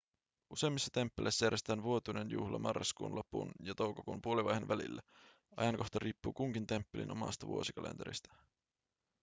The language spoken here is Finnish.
useimmissa temppeleissä järjestetään vuotuinen juhla marraskuun lopun ja toukokuun puolivaiheen välillä ajankohta riippuu kunkin temppelin omasta vuosikalenterista